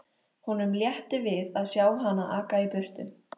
Honum létti við að sjá hana aka í burtu.